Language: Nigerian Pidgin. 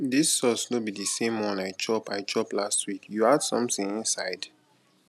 dis sauce no be the same one i chop i chop last week you add something inside